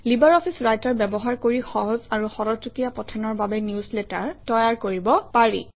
LibreOffice Writer ব্যৱহাৰ কৰি সহজ আৰু খৰতকীয়া পঠনৰ বাবে নিউজলেটাৰ তৈয়াৰ কৰিব পাৰি